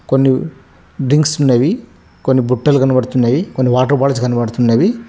కొన్ని డింక్స్ ఉన్నవి కొన్ని బుట్టలు కనబడుతున్నవి కొన్ని వాటర్ బాటిల్స్ కనబడుతున్నవి.